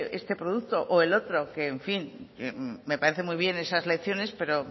este producto o el otro que en fin me parece muy bien esas lecciones pero